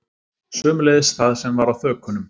Sömuleiðis það sem var á þökunum